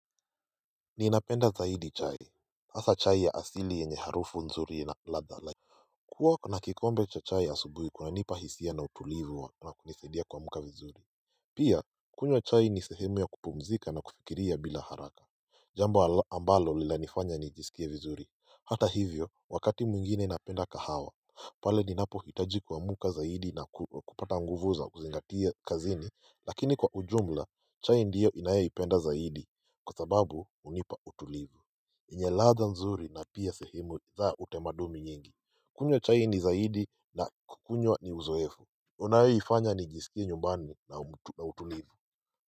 Ninapenda zaidi chai hasa chai ya asili yenye harufu nzuri na ladha like kuwa kuna kikombe cha chai asubuhi kunanipa hisia na utulivu wa na kunisaidia kuamuka vizuri Pia kunywa chai ni sehemu ya kupumzika na kufikiria bila haraka Jambo ambalo linanifanya nijisikie vizuri Hata hivyo wakati mwingine napenda kahawa pale ninapo hitaji kuamuka zaidi na kupata nguvu za kuzingatia kazini Lakini kwa ujumla chai ndiyo inayoipenda zaidi kwa sababu hunipa utulivu yenye ladha nzuri na pia sehimu za utamaduni nyingi kunywa chai ni zaidi na kukunywa ni uzoefo Unaenifanya nijisikie nyumbani na utulivu.